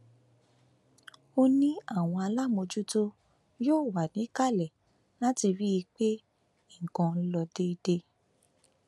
ó ní àwọn aláàmọjútó yóò wà níkàlẹ láti rí i pé nǹkan ló déédé